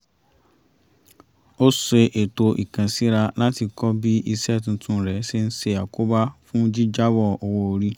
ó ṣe ètò ìkànsíra láti kọ́ bí iṣẹ́ tuntun rẹ̀ ṣe ń ṣe àkóbá fún jíjábọ̀ owó orí